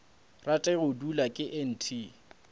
rate go dulwa ke nt